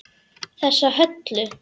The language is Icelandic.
Þessa Höllu!